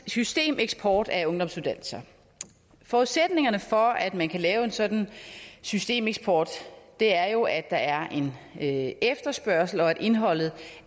systemeksport af ungdomsuddannelser forudsætningerne for at man kan lave en sådan systemeksport er jo at der er en en efterspørgsel og at indholdet